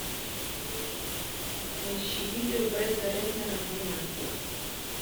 поищи видео бретта рэтнера война